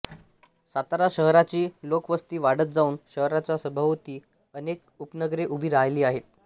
सातारा शहराची लोकवस्ती वाढत जाऊन शहराच्या सभोवती अनेक उपनगरे उभी राहिली आहेत